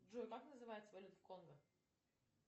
джой как называется валюта в конго